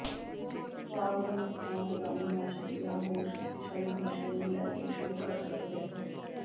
ਵਾਲ ਦੇ ਨੁਕਸਾਨ ਰੋਗਾਣੂਨਾਸ਼ਕ ਜ ਹੋਰ ਸ਼ਕਤੀਸ਼ਾਲੀ ਨਸ਼ੇ ਨੂੰ ਲੈ ਕੇ ਸ਼ੁਰੂ ਕਰ ਸਕਦੇ ਹੋ